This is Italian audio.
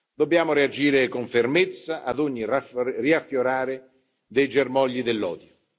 Dobbiamo reagire con fermezza ad ogni riaffiorare dei germogli dell'odio.